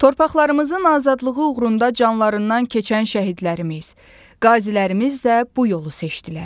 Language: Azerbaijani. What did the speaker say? Torpaqlarımızın azadlığı uğrunda canlarından keçən şəhidlərimiz, qazilərimiz də bu yolu seçdilər.